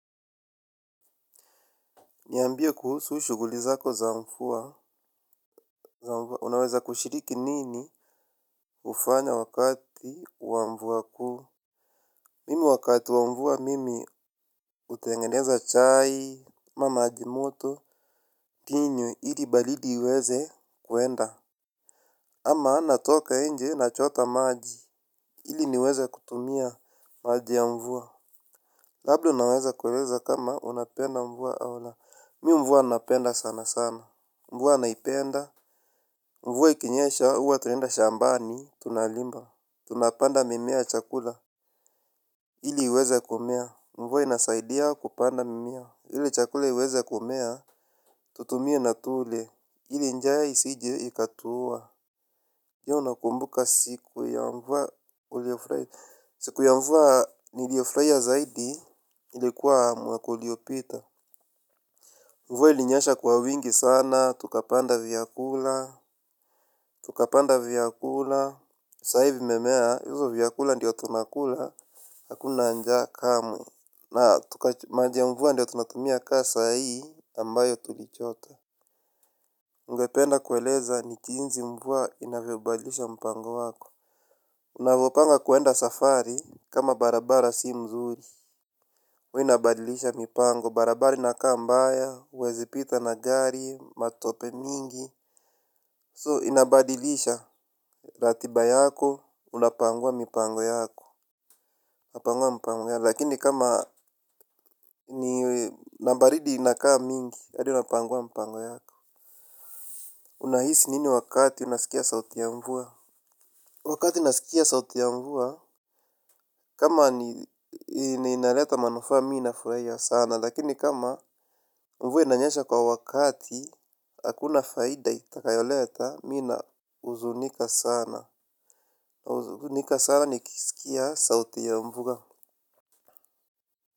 Niambia kuhusu shuguli zako za mvua, unaweza kushiriki nini ufanya wakati wa mvua kuu. Mimi wakati wa mvua mimi utengeneza chai, amamajimoto, kinywe, hili balidi iweze kuenda. Ama natoka enje na chota maji, hili niweze kutumia maji ya mvua. Labda unaweza kueleza kama unapenda mvua au la, mi mvua napenda sana sana, mvua naipenda. Mvua ikinyesha, uwa tunaenda shambani, tunalimba. Tunapanda mimea chakula. Ili iweze kumea. Mvua inasaidia kupanda mimea. Ili chakula iweze kumea. Tutumie na tule. Ili njaa isije ikatuua je unakumbuka siku ya mvua uliofurahi. Siku ya mvua nilio furahia zaidi. Ilikuwa mwaka uli opita. Mvua ilinyesha kwa wingi sana. Tukapanda vyakula. Tukapanda vyakula. Sai vi memea hizo vyakula ndiyo tunakula akuna njaa kamwe na tuka maji ya mvua ndo tunatumia ka saa hii ambayo tulichota ungependa kueleza ni chinzi mvua inavyobadilisha mpango wako. Unavopanga kwenda safari. Kama barabara si mzuri huwa inabadilisha mipango. Barabara inakaa mbaya huwezipita na gari. Matope mingi So inabadilisha. Ratiba yako. Unapangua mipango yako upangua mpango ya lakini kama ni nabaridi inakaa mingi hadi unapangua mpango yako unahisi nini wakati unaskia sauti ya mvua. Wakati nasikia sauti ya mvua kama ni inaleta manufaa mi nafurahia sana lakini kama ni mvua inanyesha kwa wakati. Hakuna faida itakayoleta mina uzunika sana. Uzunika sana ni kisikia sauti ya mvua.